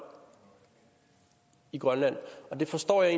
i grønland det forstår jeg